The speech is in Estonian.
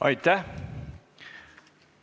Aitäh!